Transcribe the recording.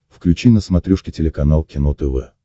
включи на смотрешке телеканал кино тв